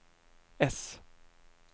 äss